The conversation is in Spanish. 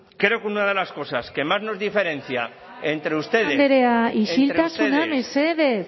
creo que una de las cosas que más nos diferencia entre ustedes martínez andrea isiltasuna mesedez